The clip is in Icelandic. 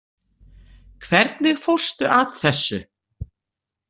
Hvernig fórstu að þessu?